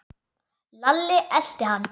Lalli elti hann.